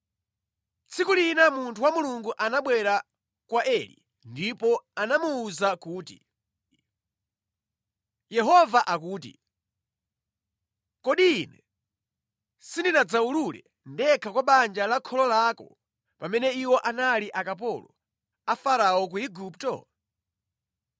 Tsiku lina munthu wa Mulungu anabwera kwa Eli ndipo anamuwuza kuti, “Yehova akuti, ‘Kodi Ine sindinadziwulule ndekha kwa banja la kholo lako pamene iwo anali akapolo a Farao ku Igupto?